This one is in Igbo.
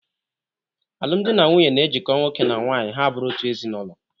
Alụmdi na nwunye na-ejiko nwoke na nwaanyị ha a bụrụ otu ezinaụlọ.